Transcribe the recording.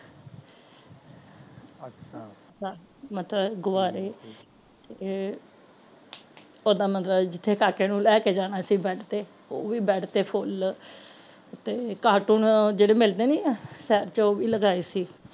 ਅਹ ਮਤਲਬ ਗੁਬਾਰੇ ਤੇ ਓਹਦਾ ਮਤਲਬ ਜਿਥੇ ਕਾਕੇ ਨੂੰ ਲੈਕੇ ਜਾਣਾ ਸੀ bed ਤੇ ਉਹ ਵੀ bed ਤੇ ਫੁੱਲ ਤੇ cartoon ਜੇੜੇ ਮਿਲਦੇ ਨੀ ਆ ਸੱਚ ਉਹ ਵੀ ਲਗਾਏ ਸੀ